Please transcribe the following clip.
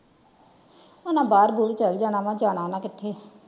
ਹਨ ਬਾਹਰ ਉਹਰ ਚਲੇ ਜਾਣਾ ਵਾ ਜਾਣਾ ਹਨ ਕਿਥੇ।